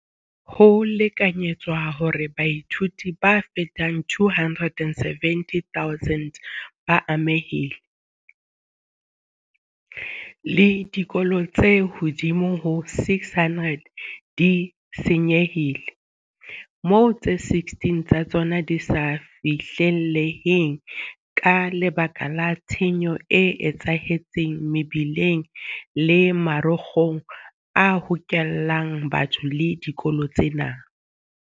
Ho lekanyetswa hore baithuti ba fetang 270 000 ba amehile, le dikolo tse ka hodimo ho 600 di se nyehile, moo tse 16 tsa tsona di sa fihlelleheng ka lebaka la tshenyo e etsahetseng mebileng le marokgong a hokelang batho le dikolo tsena.